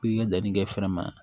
K'i ka danni kɛ fɛrɛ ma